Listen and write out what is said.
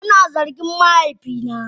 Ana zargin mahaifina.